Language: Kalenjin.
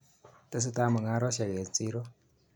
Tesetai mung'arosyek komie eng siro.